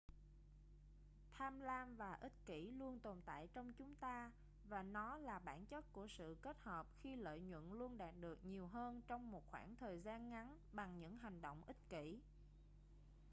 tham lam và ích kỷ luôn tồn tại trong chúng ta và nó là bản chất của sự kết hợp khi lợi nhuận luôn đạt được nhiều hơn trong một khoảng thời gian ngắn bằng những hành động ích kỷ